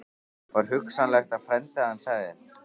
Var hugsanlegt að frændi hans hefði